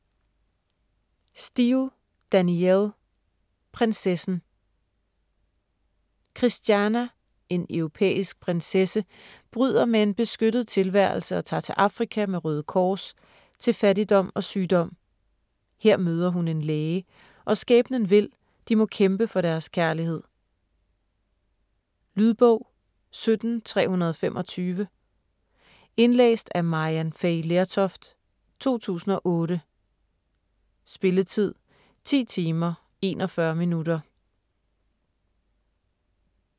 Steel, Danielle: Prinsessen Christianna, en europæisk prinsesse, bryder med en beskyttet tilværelse og tager til Afrika med Røde Kors, til fattigdom og sygdom. Her møder hun en læge, og skæbnen vil, de må kæmpe for deres kærlighed. Lydbog 17325 Indlæst af Maryann Fay Lertoft, 2008. Spilletid: 10 timer, 41 minutter.